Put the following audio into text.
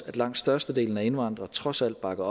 at langt størstedelen af indvandrere trods alt bakker